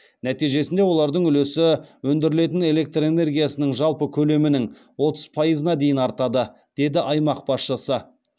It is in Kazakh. нәтижесінде олардың үлесі өндірілетін электр энергиясының жалпы көлемінің отыз пайызына дейін артады деді аймақ басшысы